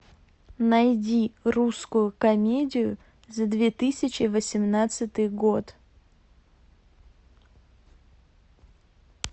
найди русскую комедию за две тысячи восемнадцатый год